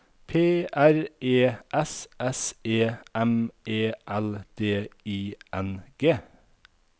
P R E S S E M E L D I N G